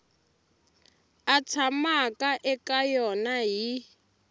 a tshamaka eka yona hi